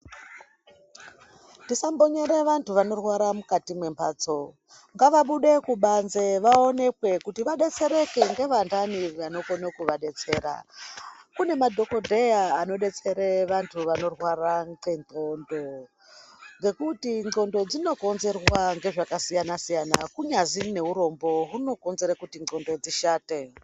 Tisamvonyere vantu vanorwara mukati mwembatso. Ngavabude kubanze vaonekwe kuti vadetsereke ngevandani vanokono kuvadetsera. Kune madhokodheya anodetsere vantu vanorwara ngendxondo ngekuti ndxondo dzinokonzerwa ngezvakasiyana siyana. Kunyaziri nehurombo hunokonzere kuti ndxondo dzishate.